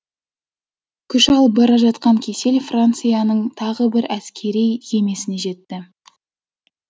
күш алып бара жатқан кесел францияның тағы бір әскери кемесіне жетті